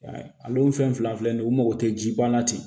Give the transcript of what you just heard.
Ale ye fɛn fila nin u mago tɛ ji ban na ten